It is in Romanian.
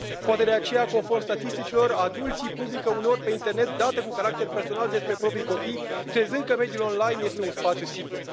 Poate de aceea, conform statisticilor, adulții publică uneori pe internet date cu caracter personal despre propriii copii, crezând că mediul online este un spațiu sigur.